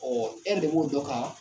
Ɔ e mago ye dɔ kan